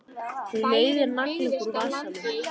Hann veiðir nagla upp úr vasanum.